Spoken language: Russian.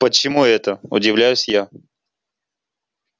почему это удивляюсь я